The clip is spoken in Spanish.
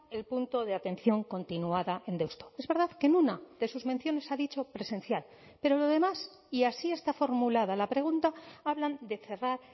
el punto de atención continuada en deusto es verdad que en una de sus menciones ha dicho presencial pero lo demás y así está formulada la pregunta hablan de cerrar